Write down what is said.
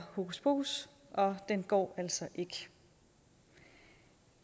hokuspokus og den går altså ikke